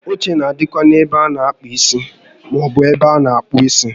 Oche na adịkwa n'ebe a na àkpà isi maọbụ n'ebe a na akpụ isi